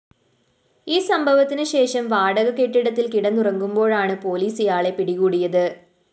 ഈ സംഭവത്തിനു ശേഷം വാടകക്കെട്ടിടത്തില്‍ കിടന്നുറങ്ങുമ്പോഴാണ്‌ പൊലീസ്‌ ഇയാളെ പിടികൂടിയത്‌